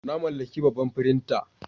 Na mallaki babban firinta.